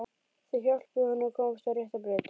Þau hjálpuðu honum að komast á rétta braut.